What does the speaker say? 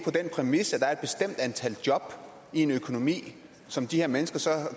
den præmis at der er et bestemt antal job i en økonomi som de her mennesker så